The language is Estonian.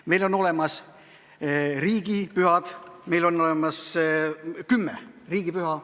Meil on olemas kümme riigipüha.